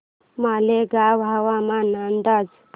मालेगाव हवामान अंदाज